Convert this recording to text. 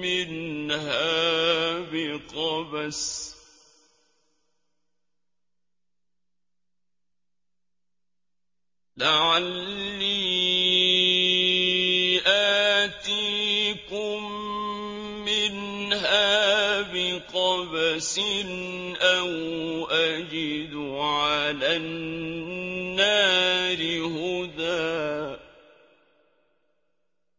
مِّنْهَا بِقَبَسٍ أَوْ أَجِدُ عَلَى النَّارِ هُدًى